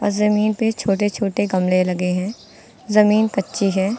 जमीन पे छोटे छोटे गमले लगे हैं जमीन कच्ची है।